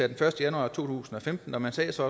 den første januar to tusind og femten og man sagde så